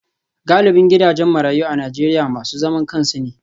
Galibin gidajen marayu a Najeriya masu zaman kansu ne.